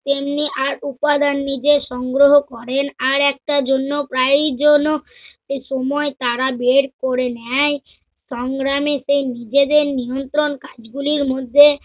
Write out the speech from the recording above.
এমনি আর উপাদান নিজে সংগ্রহ করেন আর একটার জন্য প্রায় যেন সময় তারা বের করে নেয়। সংগ্রামে সেই নিজেদের নিয়ন্ত্রণ কাজগুলোর মধ্যে